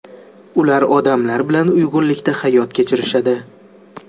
Ular odamlar bilan uyg‘unlikda hayot kechirishadi.